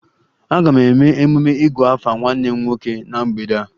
A ga-eme emume 'igu afa' nwanne m nwoke na mgbede a